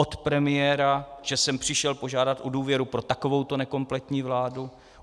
Od premiéra, že sem přišel požádat o důvěru pro takovouto nekompletní vládu.